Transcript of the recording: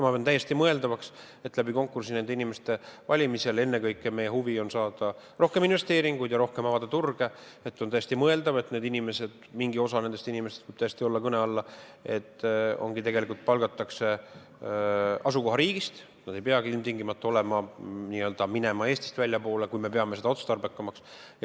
Ma pean täiesti mõeldavaks, et konkursi kaudu nende inimeste valimisel mingi osa nendest, see võib täiesti tulla kõne alla, palgatakse asukohariigist, need inimesed ei peagi ilmtingimata n-ö minema Eestist väljapoole, kui me peame seda otstarbekamaks.